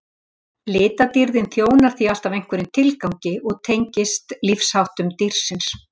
Litadýrðin þjónar því alltaf einhverjum tilgangi og tengist lífsháttum dýrsins.